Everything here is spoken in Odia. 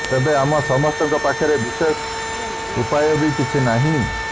ତେବେ ଆମ ସମସ୍ତଙ୍କ ପାଖରେ ବିଶେଷ ଉପାୟ ବି କିଛି ନାହିଁ